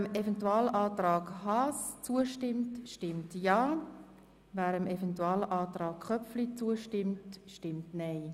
Wer dem Eventualantrag Haas zustimmt, stimmt Ja, wer dem Eventualantrag Köpfli zustimmt, stimmt Nein.